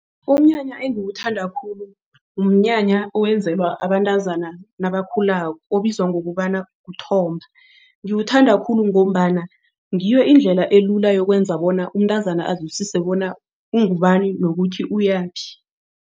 Umnyanya engiwuthanda khulu umnyanya owenzelwa abantazana nabakhulako obizwa ngokobana kuthomba. Ngiwuthanda khulu ngombana ngiyo indlela elula yokwenza bona umntazana azwisise bona ungubani nokuthi uyaphi.